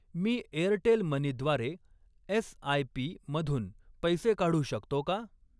मी Airtel money द्वारे SIP. मधून पैसे काढू शकतो का?